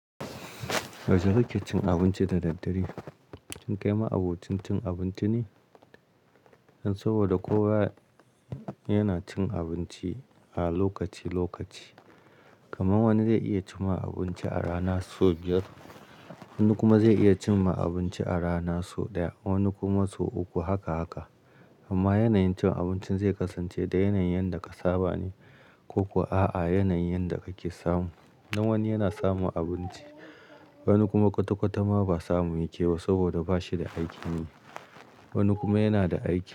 Yaushe kike cin abinci da daddare? Cin kai ma abincin cin abinci ne saboda kowa yana cin abinci a lokaci-lokaci. Kamar wani zai iya cin ma abinci a rana sau biyar, wani kuma zai iya cin ma abinci a rana sau ɗaya, wani kuma sau uku, haka, haka. Amma yanayin cin abincin zai kasance da yanayin da kasaba ne ko kuwa a'a yanayin da kake samu. Dan wani yana samun abinci, wani kuma kwata-kwata ma ba samu yake ba saboda bashi da aikin ye, wani kuma yana da aiki.